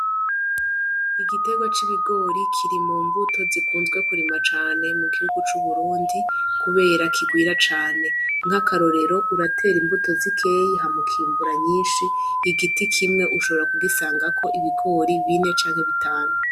Igiterwa c'ibigori kiri mu mbuto zikunzwe kurimwa cane mu gihugu cu burundi kubera kirwira cane nkaka rorero uratera imbuto zikeya hama ukimbura nyishi igiti kimwe ushobora ku gisangako ibigori bine canke bitanu.